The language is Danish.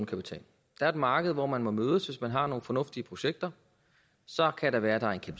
er et marked hvor man må mødes hvis man har nogle fornuftige projekter så kan det være at der er